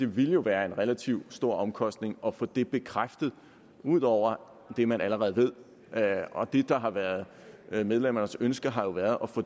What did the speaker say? ville være en relativt stor omkostning at få det her bekræftet ud over det man allerede ved og det der har været medlemmernes ønske har jo været at få